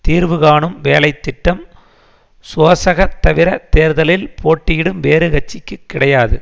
தீர்வு காணும் வேலை திட்டம் சோசக தவிர தேர்தலில் போட்டியிடும் வேறு கட்சிகளுக்கு கிடையாது